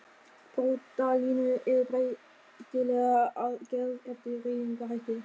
Brotalínur eru breytilegar að gerð eftir hreyfingarhætti.